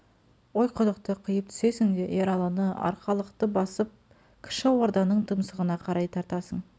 ойқұдықты қиып түсесің де ералыны арқалықты басып кіші орданың тұмсығына қарай тартасың